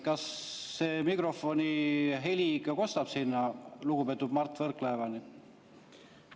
Kas see mikrofoni heli ikka kostub lugupeetud Mart Võrklaevani?